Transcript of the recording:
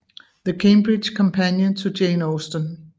The Cambridge Companion to Jane Austen